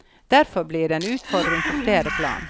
Derfor blir det en utfordring på flere plan.